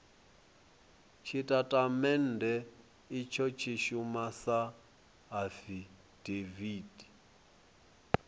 tshitatamennde itsho tshi shuma sa afidaviti